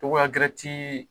Togoya gɛrɛ tii